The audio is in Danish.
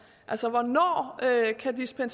her